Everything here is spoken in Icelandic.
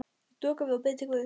Ég doka við og bið til guðs.